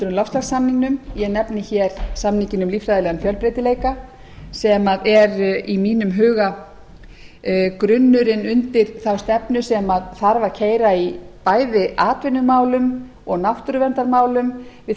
loftslagssamningnum ég nefni hér samninginn um líffræðilegan fjölbreytileika sem er í mínum huga grunnurinn undir þá stefnu sem þarf að keyra í bæði atvinnumálum og náttúruverndarmálum við þurfum